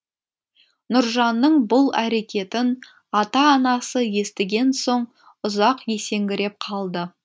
нұржанның бұл әрекетін ата анасы естіген соң ұзақ есеңгіреп қалды